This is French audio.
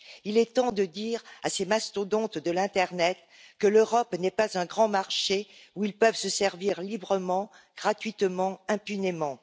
Il est temps de dire à ces mastodontes de l'internet que l'Europe n'est pas un grand marché où ils peuvent se servir librement, gratuitement, impunément.